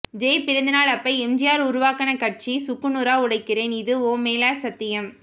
ஜெ பிறந்த நாள் அப்ப எம்ஜிஆர் உருவாக்குன கட்சிய சுக்கு நூறா ஒடைக்கிறேன் இது உன் மேல சத்தியம்